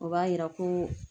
O b'a yira ko